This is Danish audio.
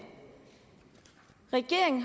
regeringen